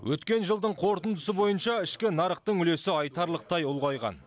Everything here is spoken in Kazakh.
өткен жылдың қорытындысы бойынша ішкі нарықтың үлесі айтарлықтай ұлғайған